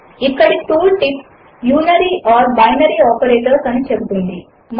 ఇక్కడి tool tip unary లేదా binary operators అని చెపుతుంది